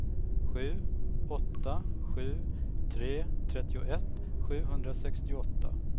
sju åtta sju tre trettioett sjuhundrasextioåtta